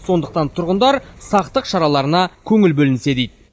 сондықтан тұрғындар сақтық шараларына көңіл бөлінсе дейді